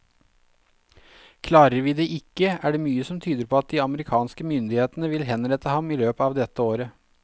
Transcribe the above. Klarer vi det ikke, er det mye som tyder på at de amerikanske myndighetene vil henrette ham i løpet av dette året.